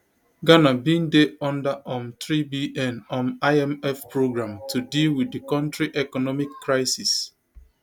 ghana bin dey under um threebn um imf programme to deal with di kontri economic crisis